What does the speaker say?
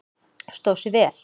Stóð sig vel?